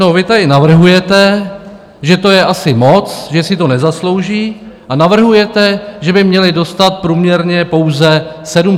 No vy tady navrhujete, že to je asi moc, že si to nezaslouží, a navrhujete, že by měli dostat průměrně pouze 760 korun.